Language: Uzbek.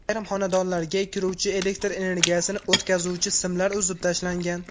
Ayrim xonadonlarga kiruvchi elektr energiyasini o‘tkazuvchi simlar uzib tashlangan.